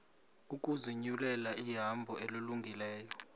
ukuzinyulela ihambo elungileyo